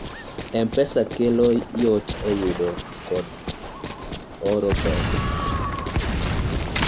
m-pesa okelo yot e yudo kod oro pesa